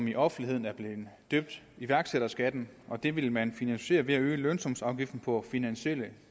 i offentligheden er blevet døbt iværksætterskatten og det vil man finansiere ved at øge lønsumsafgiften på finansielle